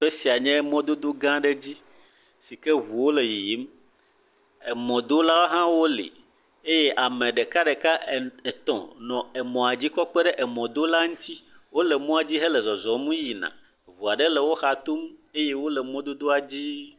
Teƒe sia nye mɔdodo gã ɖe dzi. Si ke eŋuwo le yiyim. Emɔdola hã wo li eye ame ɖekaɖeka en etɔ̃ nɔ emɔa dzi kɔ kpe ɖe emɔdola ŋuti. Wo le mɔa dzi hele zɔzɔm yina. Ŋu aɖe le woxa tom eye wo le mɔdodoadzi.